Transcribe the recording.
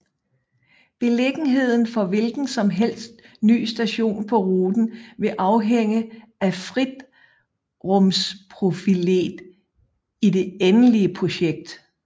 Beliggenheden for hvilken som helst ny station på ruten vil afhænge af fritrumsprofilet i det endelige projekt